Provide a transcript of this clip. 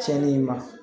Tiɲɛni ma